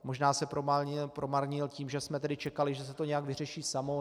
Možná se promarnil tím, že jsme tedy čekali, že se to nějak vyřeší samo.